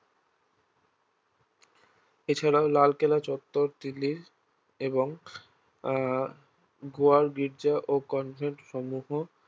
এছাড়াও লালকেল্লা চত্বর দিল্লির এবং আহ গোয়ার গির্জা ও কনভেন্টসমূহ